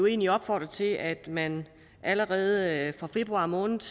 egentlig opfordrer til at man allerede fra februar måned